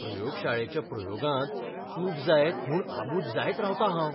प्रयोगशाळेच्या प्रयोगांत चूक जायत म्हूण आबूज जायत रावतां हांव.